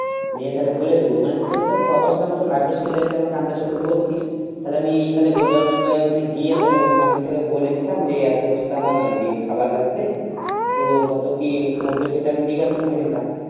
নিয়ে তাহলে বলে দেব মানে তোর তাও বস্থার মত লাগবে এটা যদি আমাকে আন্দাজ করে বলতিস তাহলে আমি তাহলে গোডাউনে যাই ওখানে গিয়ে মানে তোকে বলিতাম যে এত বস্তা আমার খাবার লাগবে তো কত কি পড়বে সেটা আমি জিজ্ঞাসা করে নিতাম